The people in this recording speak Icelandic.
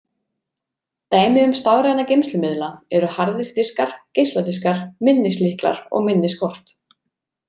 Dæmi um stafræna geymslumiðla eru harðir diskar, geisladiskar, minnislyklar og minniskort.